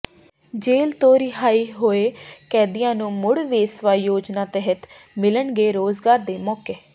ਜੇਲ੍ਹ ਤੋਂ ਰਿਹਾਅ ਹੋਏ ਕੈਦੀਆਂ ਨੂੰ ਮੁੜ ਵਸੇਵਾ ਯੋਜਨਾ ਤਹਿਤ ਮਿਲਣਗੇ ਰੋਜ਼ਗਾਰ ਦੇ ਮੌਕੇ